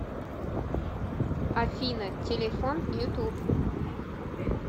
афина телефон ютуб